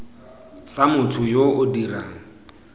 sa motho yo o dirang